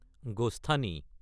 গোষ্ঠানী